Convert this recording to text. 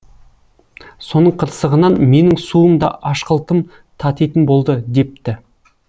соның қырсығынан менің суым да ашқылтым татитын болды депті